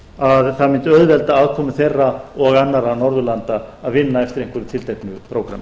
að það mundi auðvelda aðkomu þeirra og annarra norðurlanda að vinna eftir einhverju tilteknu prógrammi